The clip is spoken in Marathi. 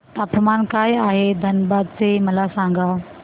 तापमान काय आहे धनबाद चे मला सांगा